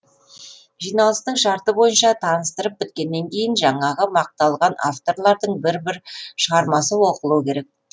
жиналыстың шарты бойынша таныстырып біткеннен кейін жаңағы мақталған авторлардың бір бір шығармасы оқылу керек